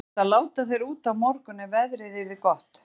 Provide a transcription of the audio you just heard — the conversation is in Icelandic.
Það átti að láta þær út á morgun ef veðrið yrði gott.